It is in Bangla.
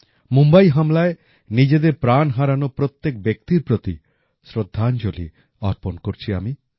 মুম্বাই হামলায় নিজেদের প্রাণ হারানো প্রত্যেক ব্যক্তির প্রতি শ্রদ্ধাঞ্জলি অর্পণ করছি আমি